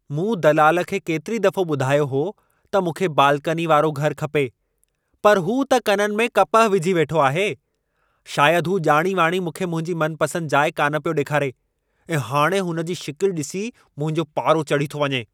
मूं दलाल खे केतिरी दफ़ो ॿुधायो हो त मूंखे बाल्कनी वारो घर खपे पर हू त कननि में कपह विझी वेठो आहे । शायद हू ॼाणी वाणी मूंखे मुंहिंजी मनपसंदि जाइ कान पियो डे॒खारे ऐं हाणे हुन जी शिकिलि डि॒सी ई मुंहिंजो पारो चढ़ी थो वञे।